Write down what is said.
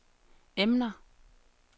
emner